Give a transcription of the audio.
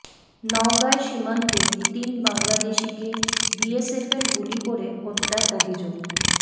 নওগাঁয় সীমান্তে তিন বাংলাদেশিকে বিএসএফের গুলি করে হত্যার অভিযোগ